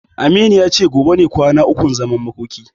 Aminu ya ce gobe ne kwana ukun zaman makoki.